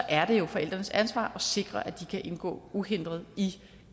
er det jo forældrenes ansvar at sikre at de kan indgå uhindret i